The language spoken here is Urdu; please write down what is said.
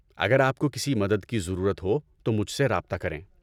اگر آپ کو کسی مدد کی ضرورت ہو تو مجھ سے رابطہ کریں۔